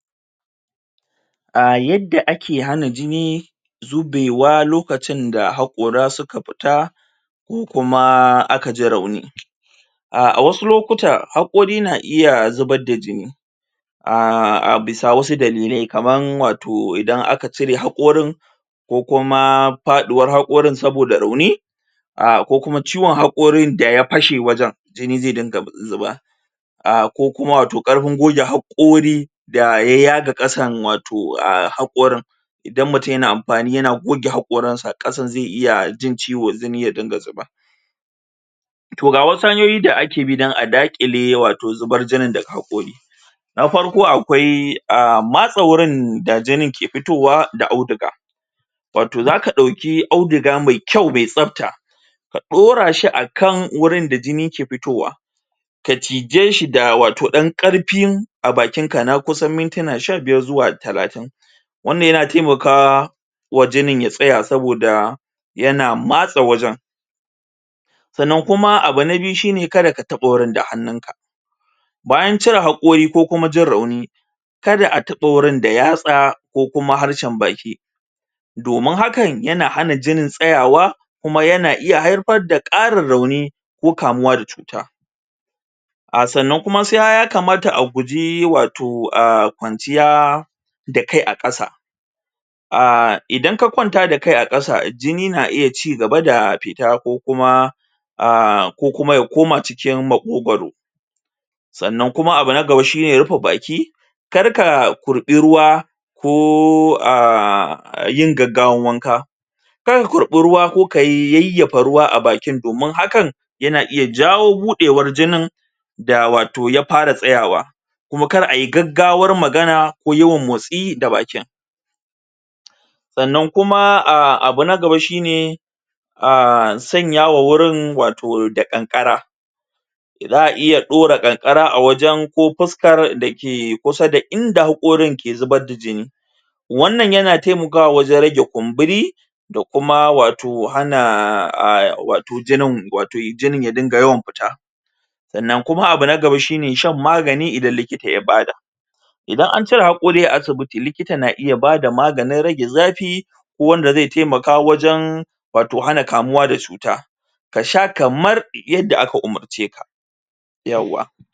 A yadda ake hana jini zubewa lokacin da haƙora suka fita ko kuma aka ji rauni a a wasu lokuta haƙori na iya zubar da jini a bisa wasu dalilai kaman wato idan aka cire haƙorin ko kuma faɗuwar haƙorin saboda rauni a kokuma ciwon haƙorin da ya fashe wajen jini zai dinga zuba a ko kuma wato ƙarfin goge hakori da ya yaga ƙasan wato haƙorin idan mutum yana amfani yana goge haƙorin sa kasan zai iya jin ciwo jini ya dinga zuba to ga wasu hanyoyi da ake bi don a daƙile wato zubar jinin daga haƙori na farko akwai matse wurin da jinin ke fitowa da auduga wato za ka ɗauki auduga mai kyau mai tsafta ka ɗora shi a kan wurin da jini ke fitowa ka cije shi wato da ɗan karfin a bakin ka na kusan mintina sha biyar zuwa talatin wannan yana taimakawa wa jinin ya tsaya saboda yana matse wajen sannan kuma abu na biyu kada ka taɓa wajen da hannunka bayan cire haƙori ko kuma jin rauni kada a taɓa wajen da yatsa ko kuma harshen baki domin hakan yana hana jinin tsayawa kuma yana iya haifar da arin rauni ko kamuwa da cuta a sannan kuma ya kamata a guji wato kwanciya da kai a ƙasa a idan ka kwanta da kai a kasa jini na iya cigaba da fita ko kuma a kokuma ya koma cikin maƙogaro sannan kuma abu na gaba shine rufe baki kar ka kurɓi ruwa ko a yin gaggawan wanka kar ka kurɓi ruwa ko ka yayyafa ruwa a bakin domin hakan yana iya jawo buɗewar jinin da wato ya fara tsayawa kuma kar ayi gaggawar magana ko motsi da bakin sannan kuma abu na gaba shine um sanya ma wurin wato da ƙanƙara za a iya daura kankara a wajen ko fuskan da ke kusa da inda hakorin ke zubar da jini wannan yana taimakawa wajen rage kumburi da kuma wato hana wato jinin wato jinin ya dinga yawan fita sannan kuma abu na gaba shine shan magani idan likita ya bada idan an cire haƙori a asibiti likita na iya bada maganin rage zafi ko wanda zai taimaka wajen wato hana kamuwa da cuta ka sha kamar yanda aka umurce ka yawwa.